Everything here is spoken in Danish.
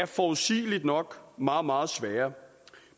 forudsigeligt nok meget meget svære